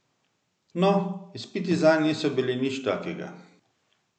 No, izpiti zanj niso bili nič takega.